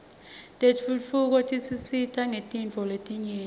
tentfutfuko tisisita ngetintfo letinyenti